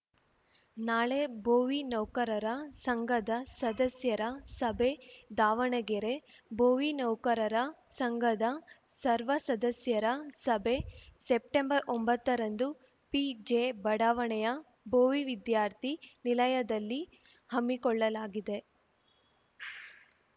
ನಾಳೆ ಭೋವಿ ನೌಕರರ ಸಂಘದ ಸದಸ್ಯರ ಸಭೆ ದಾವಣಗೆರೆ ಭೋವಿ ನೌಕರರ ಸಂಘದ ಸರ್ವಸದಸ್ಯರ ಸಭೆ ಸೆಪ್ಟೆಂಬರ್ಒಂಬತ್ತರಂದು ಪಿಜೆಬಡಾವಣೆಯ ಭೋವಿ ವಿದ್ಯಾರ್ಥಿ ನಿಲಯದಲ್ಲಿ ಹಮ್ಮಿಕೊಳ್ಳಲಾಗಿದೆ